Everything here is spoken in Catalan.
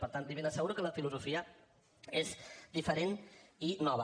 per tant li ben asseguro que la filosofia és diferent i nova